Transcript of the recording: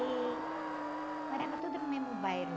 E... Morava tudo no mesmo bairro.